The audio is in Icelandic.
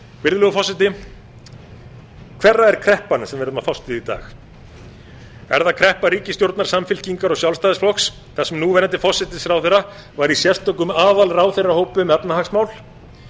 virðulegur forseti hverra er kreppan sem við erum að fást við í dag er það kreppa ríkisstjórnar samfylkingar og sjálfstæðisflokks þar sem núverandi forsætisráðherra var í sérstökum aðalráðherrahópi um efnahagsmál